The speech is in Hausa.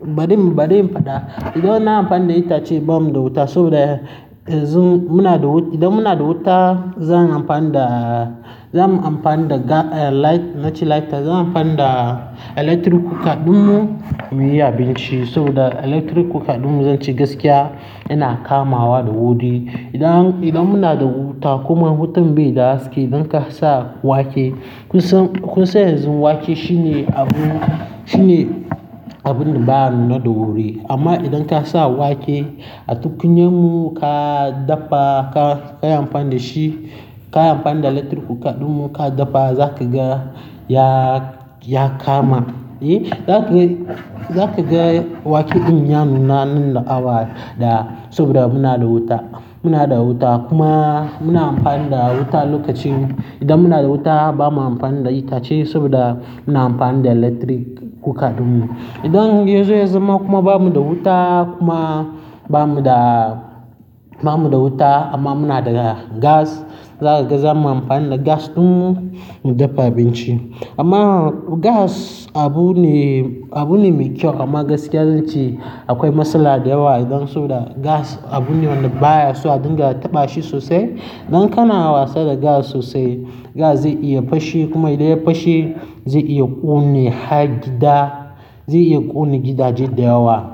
bari, bari in faɗa. Idan ina amfani da itace ba mu da wuta saboda yanzu muna da wuta, idan muna da wuta zan amfani da, za mu amfani da ga-- eh, light, na ce lighter. Zan amfani da electric cooker ɗinmu muyi abinci saboda electric cooker ɗinmu zan ce gaskiya yana kamawa da wuri. Idan, idan muna da wuta kuma wutan bai da haske idan ka sa wake, kun san, kun san yanzu wake shine abu, shine abun da ba ya nuna da wuri. Amma idan ka sa wake a tukunya mu ka daffa, ka, ka yi amfani da shi, ka yi amfani da electric cooker ɗinmu ka daffa, zaka ga ya, ya kama. Eh, zaka ga, zaka ga wake din ya nuna nan da awa daya saboda muna da wuta. Muna da wuta kuma muna amfani da wuta lokacin. Idan muna da wuta ba mu amfani da itace saboda muna amfani da electric cooker ɗinmu. Idan yazo yazama kuma ba mu da wuta kuma ba mu da, ba mu da wuta amma muna da gas, za kaga, za mu amfani da gas ɗinmu mu daffa abinci. Amma gas abu ne, abu ne mai kyau amma gaskiya zan ce akwai matsala da yawa idan saboda gas abu ne wanda baya so a dinga taɓa shi sosai. Idan kana wasa da gas sosai, gas zai iya fashe kuma idan ya fashe zai iya ƙone har gida, zai iya ƙone gidaje da yawa.